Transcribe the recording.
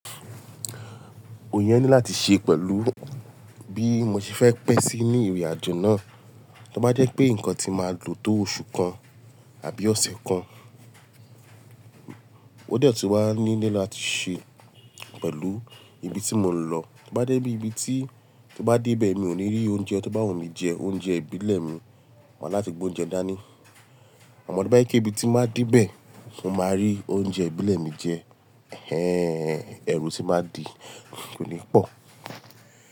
Èèyàn ní láti ṣe pẹ̀lú bí mo ṣe fẹ́ pẹ́ sí ní ìrìn-àjò náà. Tí ó bá jẹ́ pé nǹkan tí máa lò tó oṣù kan àbí ọ̀sẹ̀ kan, ó dẹ tu wa nílẹ̀ láti ṣe pẹ̀lú ibi tí mò ń lọ. Tí ó bá dé ibi tí, tí ó bá dé ibẹ̀ mi ò ní rí oúnjẹ, tí bá wù mí jẹ oúnjẹ ìbílẹ̀ mi, màá láti gbé oúnjẹ dání. Amọ tọ̀ ba e ké ibi tí máa dé bẹ́ẹ̀ mo máa rí oúnjẹ ìbílẹ̀ mi jẹ ẹẹ́, ẹ̀rù tí máa di kò ní pọ̀.